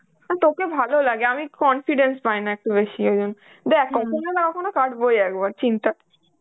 না তোকে ভালো লাগে, আমি confidence পাইনা একটু বেশি আমি দেখ কখনো না কখনো কাটবো একবার চিন্তা